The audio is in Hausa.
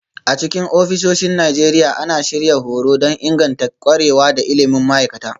A cikin ofisoshin Najeriya, ana shirya horo don inganta ƙwarewa da ilimin ma'aikata